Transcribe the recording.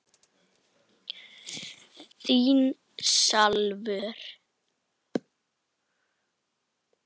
Þín Salvör.